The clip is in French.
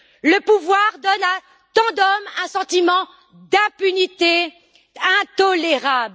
Le pouvoir donne à tant d'hommes un sentiment d'impunité intolérable.